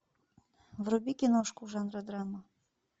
вруби киношку жанра драма